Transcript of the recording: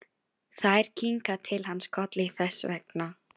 Þær kinka til hans kolli þess vegna.